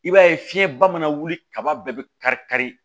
I b'a ye fiɲɛba mana wuli kaba bɛɛ bɛ kari kari